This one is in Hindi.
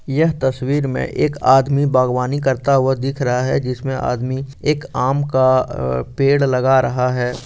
यह तस्वीर मे एक आदमी बागवानी करता हुआ दिख रहा है जिसमे आदमी एक आम का अ पेड लगा रहा है ।